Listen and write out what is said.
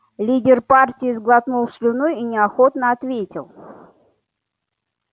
лидер партии сглотнул слюну и неохотно ответил